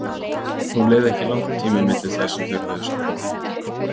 Nú leið ekki langur tími milli þess sem þeir höfðu samband við mig.